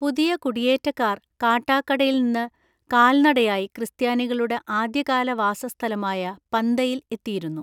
പുതിയ കുടിയേറ്റക്കാർ കാട്ടാക്കടയിൽ നിന്ന് കാൽനടയായി ക്രിസ്ത്യാനികളുടെ ആദ്യകാല വാസസ്ഥലമായ പന്തയിൽ എത്തിയിരുന്നു.